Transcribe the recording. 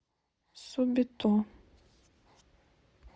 субито